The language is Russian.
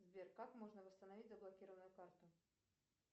сбер как можно восстановить заблокированную карту